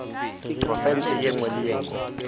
profense ye nngwe le ye